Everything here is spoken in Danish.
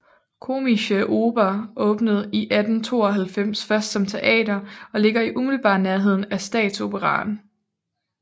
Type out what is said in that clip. Komische Oper åbnede i 1892 først som teater og ligger i umiddelbar nærhed af Statsoperaen